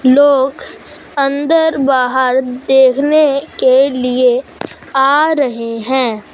लोग अंदर बाहर देखने के लिए आ रहें हैं।